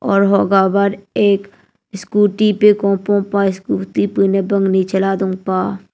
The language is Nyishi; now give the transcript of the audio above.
aru hoga bvr ek scooty pvkum pvpa aur scooty bvnv bvngni chala dungpah.